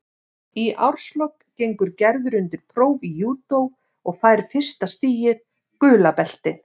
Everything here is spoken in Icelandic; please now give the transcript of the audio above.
Í árslok gengur Gerður undir próf í júdó og fær fyrsta stigið, gula beltið.